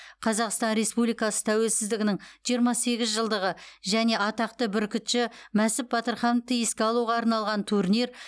қазақстан республикасы тәуелсіздігінің жиырма сегіз жылдығы және атақты бүркітші мәсіп батырхановты еске алуға арналған турнир